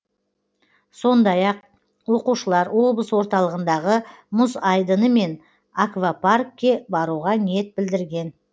сондай ақ оқушылар облыс орталығындағы мұз айдыны мен аквапаркке баруға ниет білдірген